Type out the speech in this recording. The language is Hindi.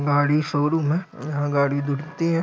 गाडी शोरूम हैं यहाँ गाडी धुलती हैं।